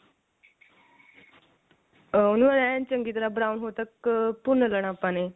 ਉਹਨੂੰ ਐਂ ਚੰਗੀ ਤਰ੍ਹਾਂ brown ਹੋਣ ਤੱਕ ਭੁੰਨ ਲੈਣਾ ਆਪਾਂ ਨੇ